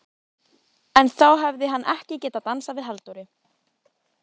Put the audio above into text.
En þá hefði hann ekki getað dansað við Halldóru